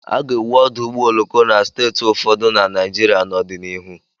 A ga-ewu ọdụ ụgbọ oloko na steeti ụfọdụ na Naịjirịa n'ọdịnihu.